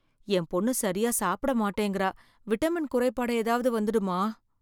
என் பொண்ணு சரியா சாப்பிட மாட்டேங்குற விட்டமின் குறைபாடு ஏதாவது வந்திடுமா?